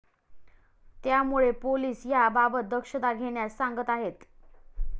त्यामुळे पोलीस ह्या बाबत दक्षता घेण्यास सांगत आहेत.